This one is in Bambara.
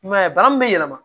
I m'a ye bara min bɛ yɛlɛma